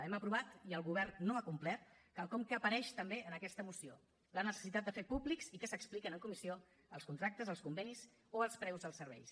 hem aprovat i el govern no ha complert quelcom que apareix també en aquesta moció la necessitat de fer públics i que s’expliquen en comissió els contractes els convenis o els preus dels serveis